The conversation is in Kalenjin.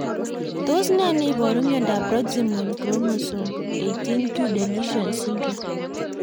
Tos nee neiparu miondop Proximal chromosome 18q deletion syndrome?